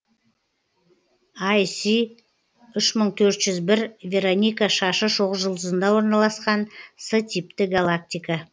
іс үш мың төрт жүз бір вероника шашы шоқжұлдызында орналасқан с типті галактика